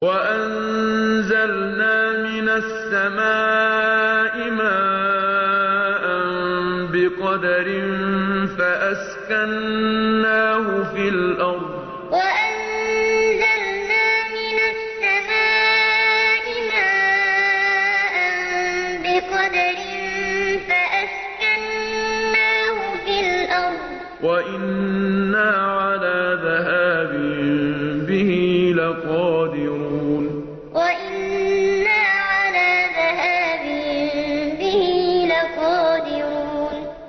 وَأَنزَلْنَا مِنَ السَّمَاءِ مَاءً بِقَدَرٍ فَأَسْكَنَّاهُ فِي الْأَرْضِ ۖ وَإِنَّا عَلَىٰ ذَهَابٍ بِهِ لَقَادِرُونَ وَأَنزَلْنَا مِنَ السَّمَاءِ مَاءً بِقَدَرٍ فَأَسْكَنَّاهُ فِي الْأَرْضِ ۖ وَإِنَّا عَلَىٰ ذَهَابٍ بِهِ لَقَادِرُونَ